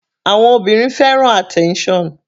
Àwọn obìnrin fẹ́ràn attention.